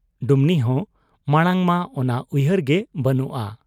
ᱰᱩᱢᱱᱤᱦᱚᱸ ᱢᱟᱬᱟᱝ ᱢᱟ ᱚᱱᱟ ᱩᱭᱦᱟᱹᱨ ᱜᱮ ᱵᱟᱹᱱᱩᱜ ᱟ ᱾